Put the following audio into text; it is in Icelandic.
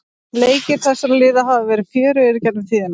Leikir þessara liða hafa verið fjörugir í gegnum tíðina.